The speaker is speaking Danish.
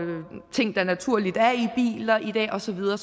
ting der naturligt er i biler i dag og så videre